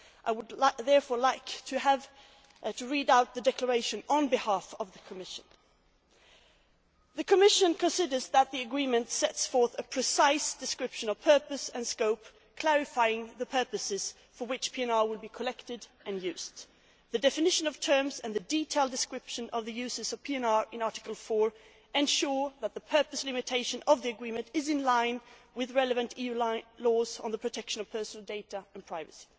I would therefore like to read out the declaration on behalf of the Commission The Commission considers that the agreement sets forth a precise description of purpose and scope, clarifying the purposes for which PNR will be collected and used. The definition of terms and the detailed description of the uses of PNR in Article 4 ensure that the purpose limitation of the agreement is in line with relevant EU laws on the protection of personal data and privacy.